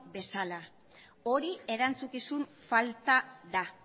bezala hori erantzukizun falta da